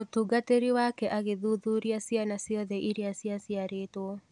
Mũtungatĩri wake agĩ thuthuria ciana ciothe iria cia ciarĩtwo.